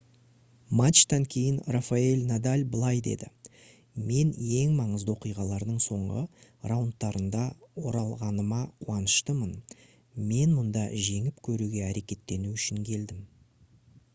матчтан кейін рафаэль надаль былай деді: «мен ең маңызды оқиғалардың соңғы раундтарында оралғаныма қуаныштымын. мен мұнда жеңіп көруге әрекеттену үшін келдім»